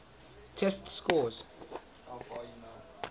test scores